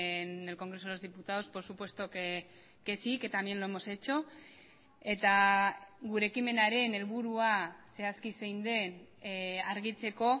en el congreso de los diputados por supuesto que sí que también lo hemos hecho eta gure ekimenaren helburua zehazki zein den argitzeko